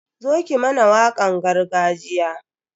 Zo ki mana wakan gargajiya.